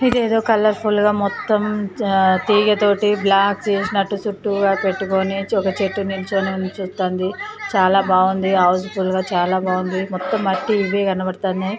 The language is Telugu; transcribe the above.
ఇది ఏదో కలర్ ఫుల్ గా మొత్తం తీగతోటి బ్లాక్ చేసినట్టుగా చుట్టూరా పెట్టుకొని ఒక చెట్టు నుంచోడిని ఉంచుతాంది చాలా బాగుంది హౌస్ ఫుల్ గా చాల బాగుంది మొత్తం మట్టి ఇవే కనబడుతున్నాయి.